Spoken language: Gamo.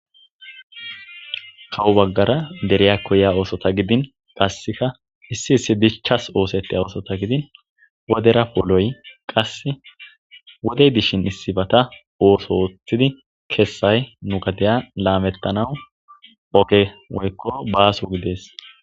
kawo baggara deriya koya oosota gidin qasseka hissi hissi dichchas oosetti oosota gidin wodera pooloy qasse wodey dishin issifata ooso oothidi keessay nu gadeya laamettanau oge woykko baaso gidees